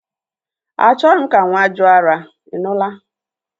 Achoghi m ka nwa jụ ara, I nụla!